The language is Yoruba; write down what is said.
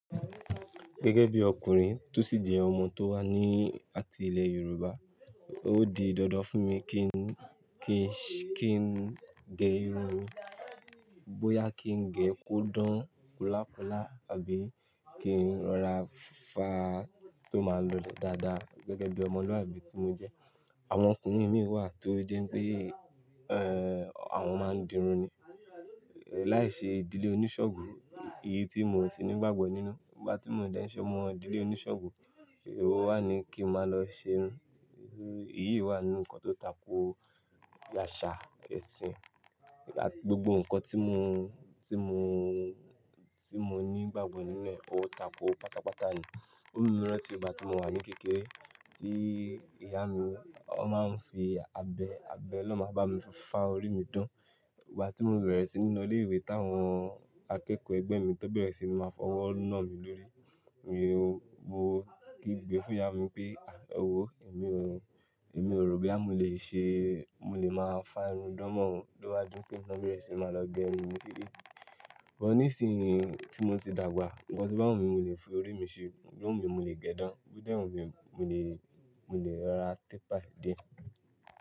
Gẹ́gẹ́ bí ọkùnrin, tó sì jẹ́ ọmọ tó wà ní àti ilẹ̀ Yorùbá, ó di dandan fún mi kí n, kí n, kí n gẹ irun. Bóyá kí n gẹ kó dán kolákolà àbí kí n rọra fá tó máa lọlẹ̀ dáadáa gẹ́gẹ́ bí ọmọlúàbí tí mo jẹ́. Àwọn ọkùnrin mìíràn wà tó jẹ́ pé, ẹ́, àwọn máa ń dirun ni. Láiṣe ìdílé oníṣàngó, èyí tí mi o sì ní ìgbàgbọ́ nínú. Nígbà tí mo dẹ́ṣẹ́ ọmọ ìdílé oníṣàngó, èwo wà ní kí n máa lọ ṣe irun. Èyí wà nínú ǹkan tó tako àṣà ẹ̀sìn. Àti gbogbo ǹkan tí mo, tí mo, tí mo ní ìgbàgbọ́ ní inu ẹ, ó tako pátápátá ni. Ó mu mi rántí ìgbàtí mo wà ní kékeré tí ìyá mi, ó máa ń fi abẹ́, abẹ́ lo máa ń bá mi fá orí mi dán. Ìgbà tí mo bẹ̀rẹ̀ sí ni lọ ilé-ìwé táwọn akẹ́kọ̀ọ́ ẹgbẹ́ mi tán bẹ̀rẹ̀ sí ní máa fọwọ́ nà mí lórí. Èmi wò, mo kígbe fún ìyá mi pé, "à, ẹ wó èmi ò, èmi ò rò boya mo lè ṣe, mo lè máa fá irun dán mọ́ o" lówá di pé èmi na bẹ̀rẹ̀ síí màá lọ gẹ irun mi dédé. But ní ìsinyìí tí mo ti dàgbà, ǹkan to bá wù mí ni mo lè fi orí mi ṣe. Bó wù mí mo lè gẹ ẹ́ dán, bí ó dẹ̀ wù mí mo lè, mo lè rọra tépàì dé.